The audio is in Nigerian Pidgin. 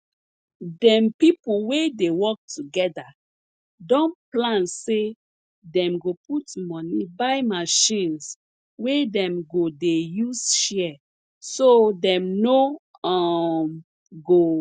dem pipo we dey work together don plan say dem go put money buy machines wey dem go dey use share so dem no um go